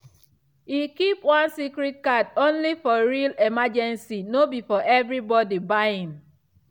e keep one credit card only for real emergency no be for everyday buying.